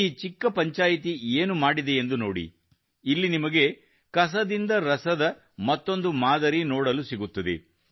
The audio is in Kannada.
ಈ ಚಿಕ್ಕ ಪಂಚಾಯಿತ್ ಏನು ಮಾಡಿದೆಯೆಂದು ನೋಡಿ ಇಲ್ಲಿ ನಿಮಗೆ ಕಸದಿಂದ ರಸದ ಮತ್ತೊಂದು ಮಾದರಿ ನೋಡಲು ಸಿಗುತ್ತದೆ